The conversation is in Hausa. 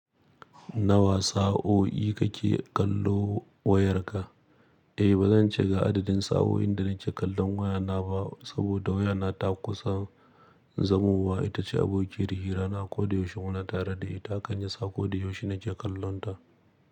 Nawa sa'o'i kake kallo wayarka? Eh, ba zan ce ga adadin sa'oin da nake kallon wayana ba saboda wayana ta kusa zamuwa. Ita ce abokiyar hira na ko da yaushe muna tare da ita, hakan ya sa ko da yaushe nake kallonta.